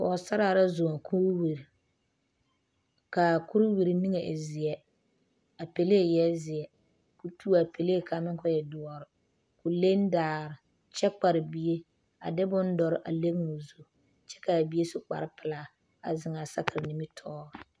pɔgesaraa la zʋŋ kuriwiri kaa kuriwiri niŋɛ e zeɛ a pele eɛ zeɛ kɔɔ tuo a Pele kaŋ meŋ kɔɔ e doɔre kɔɔ leŋ daare kyɛ kpare bie a de bon doɔre a leŋ o zu kyɛ kaa bie su kpare pelaa a zeŋ a sakiri nimitɔre.